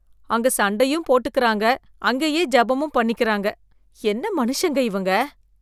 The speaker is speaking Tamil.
அங்கே சண்டையும் போட்டுக்கிறாங்க அங்கேயே ஜெபமும் பண்ணிக்கிறாங்க என்ன மனுஷங்க இவங்க!